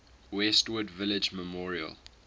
westwood village memorial